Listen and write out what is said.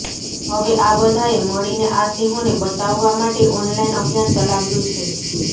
હવે આ બધાએ મળીને આ સિંહોને બચાવવા માટે ઓનલાઇન અભિયાન ચલાવ્યું છે